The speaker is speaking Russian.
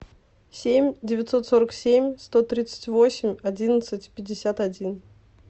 семь девятьсот сорок семь сто тридцать восемь одиннадцать пятьдесят один